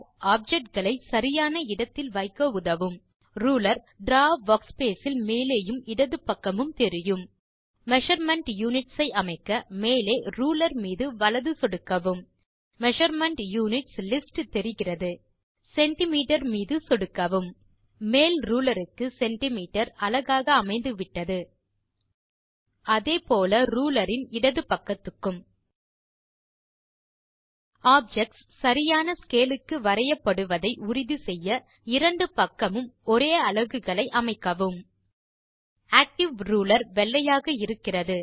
object களை சரியான இடத்தில் வைக்க உதவும் ரூலர் Draw வர்க்ஸ்பேஸ் இல் மேலேயும் இடது பகக்மும் தெரியும் மெஷர்மெண்ட் யுனிட்ஸ் ஐ அமைக்க மேலே ரூலர் மீது வலது சொடுக்கவும் மெஷர்மெண்ட் யுனிட்ஸ் லிஸ்ட் தெரிகிறது சென்டிமீட்டர் மீது சொடுக்கவும் மேல் ரூலர் க்கு சென்டிமீட்டர் அலகாக அமைந்துவிட்டது அதே போல ரூலர் இன் இடது பக்கத்துக்கும் ஆப்ஜெக்ட்ஸ் சரியான ஸ்கேல் க்கு வரையப்படுவதை உறுதி செய்ய இரண்டு பக்கமும் ஒரே அலகுகளை அமைக்கவும் ஆக்டிவ் ரூலர் வெள்ளையாக இருக்கிறது